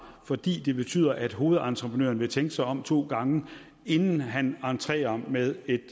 fordi det betyder at hovedentreprenøren vil tænke sig om to gange inden han entrerer med et